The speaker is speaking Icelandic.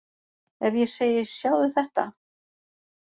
Ef ég segi Sjáðu þetta!